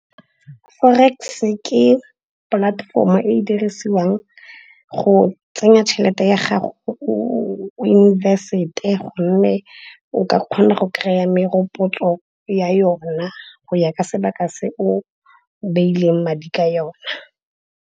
Forex-e ke platform-o e e dirisiwang go tsenya tšhelete ya gago, o invest-e gonne o ka kgona go kry-a merokotso ya yona go ya ka sebaka se o beileng madi ka yona.